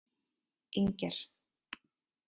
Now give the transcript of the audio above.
Inger